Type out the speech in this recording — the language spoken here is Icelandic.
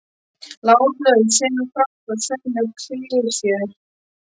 Látlaust sömu frasar og sömu klisjur.